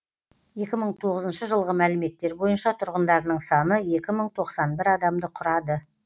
екі мың тоғызыншы жылғы мәліметтер бойынша тұрғындарының саны екі мың тоқсан бір адамды құрады